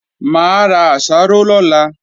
Mà á ra àsáró lọ́la